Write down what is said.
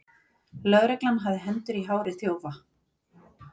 Lögreglan hafði hendur í hári þjófa